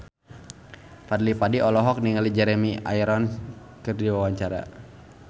Fadly Padi olohok ningali Jeremy Irons keur diwawancara